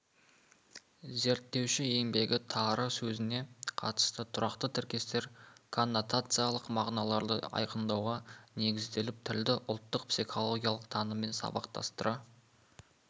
зерттеуші еңбегі тары сөзіне қатысты тұрақты тіркестер коннотациялық мағыналарды айқындауға негізделіп тілді ұлттық психологиялық таныммен сабақтастыра